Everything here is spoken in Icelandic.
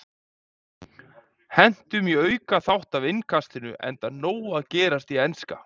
Hentum í aukaþátt af Innkastinu enda nóg að gerast í enska.